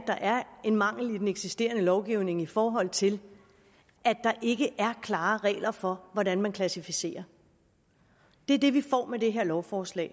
der er en mangel i den eksisterende lovgivning i forhold til at der ikke er klare regler for hvordan man klassificerer det det vi får med det her lovforslag